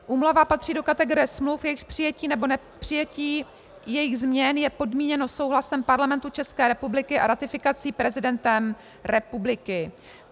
Úmluva patří do kategorie smluv, jejichž přijetí, nebo nepřijetí jejich změn je podmíněno souhlasem Parlamentu České republiky a ratifikací prezidentem republiky.